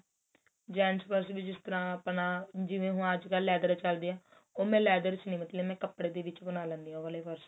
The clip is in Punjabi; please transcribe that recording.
gents purse ਵੀ ਜਿਸ ਤਰਾਂ ਆਪਣਾ ਜਿਵੇਂ ਹੁਣ ਅੱਜਕਲ leather ਚੱਲਦੇ ਏ ਉਹ ਮੈਂ leather ਚ ਨਹੀਂ ਕਪੜੇ ਦੇ ਵਿੱਚ ਬਣਾ ਲੈਂਦੀ ਆ ਉਹ ਵਾਲੇ purse